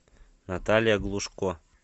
наталья глушко